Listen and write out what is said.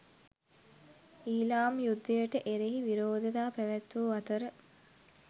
ඊලාම් යුද්ධයට එරෙහි විරෝධතා පැවැත්වූ අතර